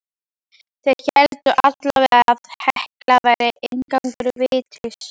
Þeir héldu allavega að Hekla væri inngangur vítis.